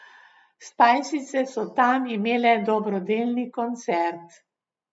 Spajsice so tam imele dobrodelni koncert.